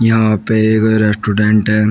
यहां पे एक रेस्टोडेंट है।